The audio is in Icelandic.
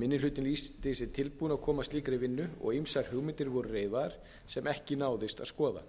minni hlutinn lýsti sig tilbúinn að koma að slíkri vinnu og ýmsar hugmyndir voru reifaðar sem ekki náðist að skoða